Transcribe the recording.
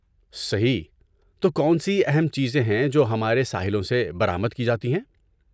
صحیح! تو کون سی اہم چیزیں ہیں جو ہمارے ساحلوں سے برآمد کی جاتی ہیں؟